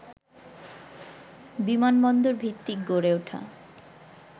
বিমানবন্দর ভিত্তিক গড়ে ওঠা